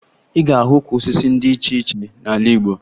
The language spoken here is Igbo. Ị ga-ahụ ukwu osisi dị iche iche n'ala Igbo